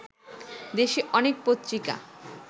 দেশে অনেক পত্রিকা